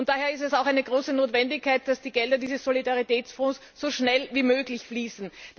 Daher ist es auch eine große Notwendigkeit, dass die Gelder dieses Solidaritätsfonds so schnell wie möglich fließen.